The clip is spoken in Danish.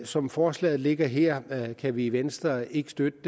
som forslaget ligger her kan vi i venstre ikke støtte